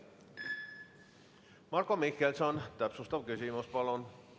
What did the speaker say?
Marko Mihkelson, täpsustav küsimus, palun!